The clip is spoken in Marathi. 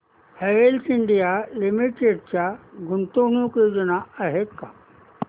हॅवेल्स इंडिया लिमिटेड च्या गुंतवणूक योजना आहेत का